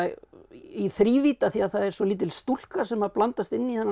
í þrívídd af því það er svo lítil stúlka sem að blandast inn í þennan